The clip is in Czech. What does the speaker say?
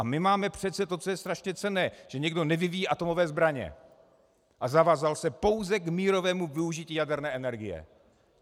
A my máme přece to, co je strašně cenné - že někdo nevyvíjí atomové zbraně a zavázal se pouze k mírovému využití jaderné energie.